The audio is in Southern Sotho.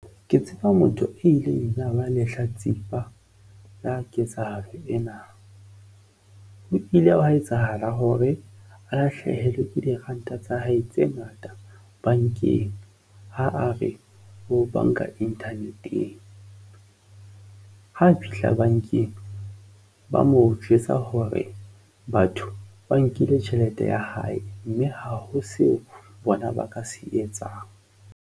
Ke tseba motho a ileng ya ba lehlatsipa la ketsahalo ena. Ho ile hwa etsahala hore a hlahelwa ke diranta tsa hae tse ngata bankeng ha a re ho banka Internet-eng ho fihla bankeng ba mo jwetsa hore batho ba nkile tjhelete ya hae mme ha ho seo bona ba ka se etsang.